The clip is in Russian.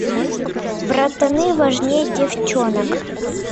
братаны важнее девчонок